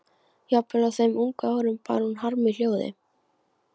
Jafnvel á þeim ungu árum bar hún harm í hljóði.